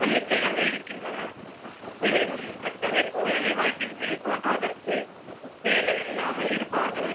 தன்னிச்சையாக இருக்கின்றன. எனினும் கட்டமைப்பு வேலைவாய்ப்பின்மை தோன்றுவதற்கு வேலை இல்லாமல் இருப்பவர்கள்